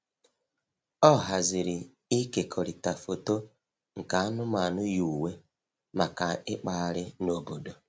Ọ haziri ịkekọrịta foto nke anụmanụ yi uwe maka ịkpagharị n'obodo.